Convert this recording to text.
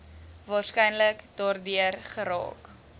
waarskynlik daardeur geraak